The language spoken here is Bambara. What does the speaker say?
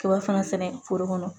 Kaba fana sɛnɛ foro kɔnɔ